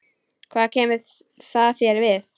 Hvað kemur það þér við?